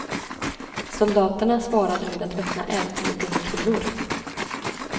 Soldaterna svarade med att öppna eld med gummikulor.